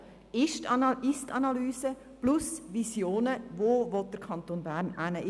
Die Ist-Analyse gehört ebenso dazu wie die Vision, wo der Kanton Bern hingehen will.